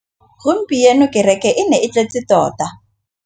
Gompieno kêrêkê e ne e tletse tota.